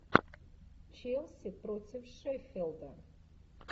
челси против шеффилда